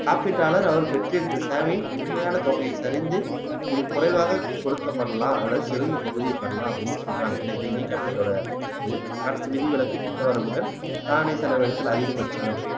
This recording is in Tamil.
காப்பீட்டாளர் அவர் பெற்றிருந்த சேவையின் உண்மையான தொகையை சரிந்து மிகக்குறைவாக கொடுக்கப்படலாம் அல்லது சிறந்த பகுதியே பெறலாம் அப்படின்னு சொல்றாங்க இது இணை காப்பிட்டோட இது அடுத்து விதிவிலக்கு திட்ட வரம்புகள் தானே செலவிடுதல் அதிகபட்சங்கள்